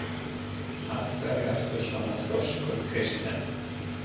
Af hverju ertu svona þrjóskur, Kirsten?